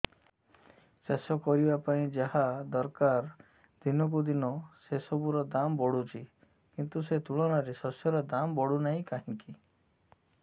ଚାଷ କରିବା ପାଇଁ ଯାହା ଦରକାର ଦିନକୁ ଦିନ ସେସବୁ ର ଦାମ୍ ବଢୁଛି କିନ୍ତୁ ସେ ତୁଳନାରେ ଶସ୍ୟର ଦାମ୍ ବଢୁନାହିଁ କାହିଁକି